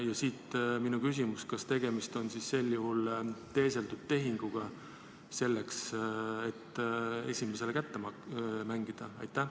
Ja siit minu küsimus: kas sel juhul on tegemist teeseldud tehinguga selleks, et ühele kandidaadile leping kätte mängida?